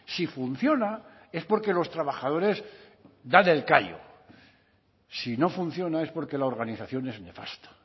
si funciona es porque los trabajadores dan el callo si no funciona es porque la organización es nefasta